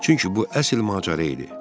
Çünki bu əsl macəra idi.